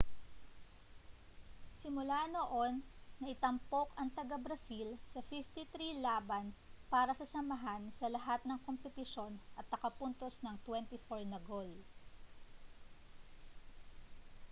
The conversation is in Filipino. simula noon naitampok ang taga-brazil sa 53 laban para sa samahan sa lahat ng kompetisyon at nakapuntos ng 24 na gol